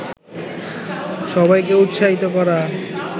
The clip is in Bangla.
সবাইকে উৎসাহিত করা